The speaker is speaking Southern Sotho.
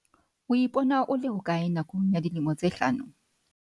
O ipona o le hokae nakong ya dilemo tse hlano?